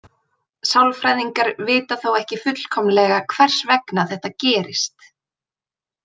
Sálfræðingar vita þó ekki fullkomlega hvers vegna þetta gerist.